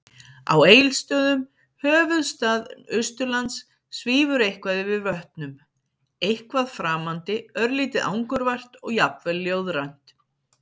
Á Egilsstöðum, höfuðstað Austurlands, svífur eitthvað yfir vötnum- eitthvað framandi, örlítið angurvært og jafnvel ljóðrænt.